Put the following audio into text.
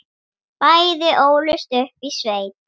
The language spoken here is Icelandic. Bæði ólust upp í sveit.